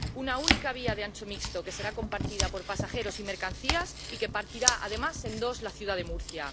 Una única vía de ancho mixto que será compartida por pasajeros y mercancías y que partirá, además, en dos la ciudad de Murcia.